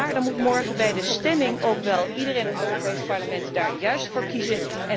Maar dan moet morgen bij de stemming ook wel iedereen in het Europees Parlement daarvoor kiezen.